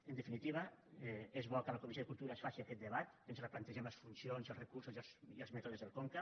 en definitiva és bo que a la comissió de cultura es faci aquest debat que ens replantegem les funcions els recursos i els mètodes del conca